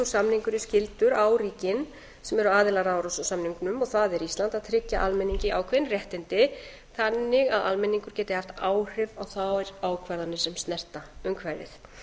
samningurinn skyldur á ríkin sem eru aðilar að árósasamningnum og það er ísland að tryggja almenningi ákveðin réttindi þann að almenningur geti haft áhrif á þær ákvarðanir sem snertir umhverfið